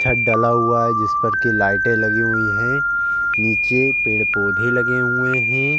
छत डाला हुआ है। जिस पर के लाइटे लगी हुई हैं नीचे पेड़-पौधे लगे हुए हैं।